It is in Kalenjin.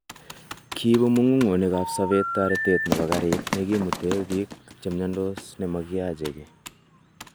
Kiibu mugungonik ap sobet, toretet nebo gariit nekimuten biik che mnyondos nemokiyache kii.